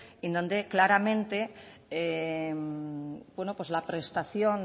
en donde claramente la prestación